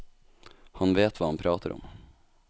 Han vet hva han prater om.